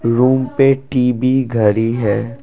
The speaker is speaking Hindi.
रूम पे टी_वी घड़ी है।